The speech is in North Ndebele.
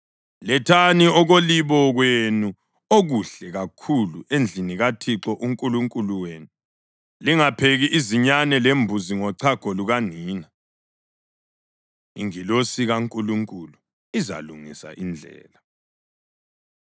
Lethani okolibo kwenu okuhle kakhulu endlini kaThixo uNkulunkulu wenu. Lingapheki izinyane lembuzi ngochago lukanina.” Ingilosi KaNkulunkulu Izalungisa Indlela